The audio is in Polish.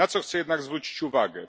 Na co chcę jednak zwrócić uwagę?